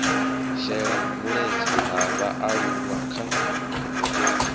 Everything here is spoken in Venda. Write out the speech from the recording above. shela mulenzhe ha vhaaluwa kha